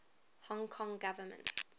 hong kong government